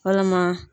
Walama